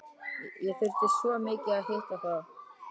ég þurfti svo mikið að hitta þig þá.